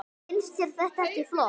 Finnst þér þetta ekki flott?